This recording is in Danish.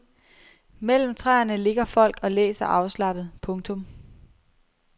Mellem træerne ligger folk og læser afslappet. punktum